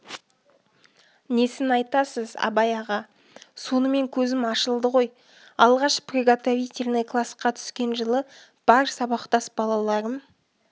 несін айтасыз абай аға сонымен көзім ашылды ғой алғаш приготовительный класқа түскен жылы бар сабақтас балаларым